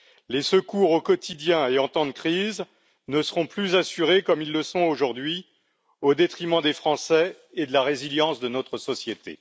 Les secours au quotidien et en temps de crise ne seront plus assurés comme ils le sont aujourd'hui, au détriment des Français et de la résilience de notre société.